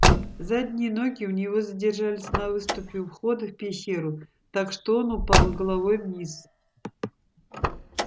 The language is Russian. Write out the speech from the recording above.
задние ноги у него задержались на выступе у входа в пещеру так что он упал головой вниз